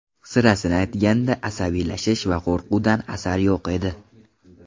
Sirasini aytganda, asabiylashish va qo‘rquvdan asar yo‘q edi.